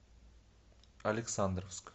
александровск